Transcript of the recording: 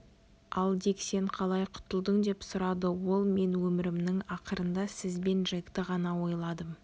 ал дик сен қалай құтылдың деп сұрады ол мен өмірімнің ақырында сіз бен джекті ғана ойладым